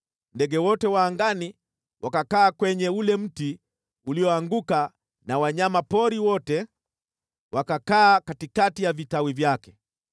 Ndege wote wa angani wakakaa kwenye ule mti ulioanguka na wanyama pori wote wakakaa katikati ya vitawi vyake.